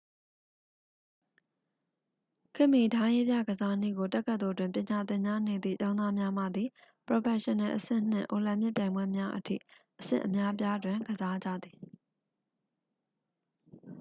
ခေတ်မှီ ဓားရေးပြကစားနည်းကို တက္ကသိုလ်တွင် ပညာသင်ကြားနေသည့် ကျောင်းသားများမှသည် ပရော်ဖက်ရှင်နယ်အဆင့်နှင့် အိုလံပစ်ပြိုင်ပွဲများအထိ အဆင့်အများအပြားတွင် ကစားကြသည်